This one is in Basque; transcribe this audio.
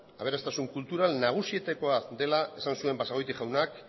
aberastasun kultural nagusienetakoa dela esan zuen basagoiti jaunak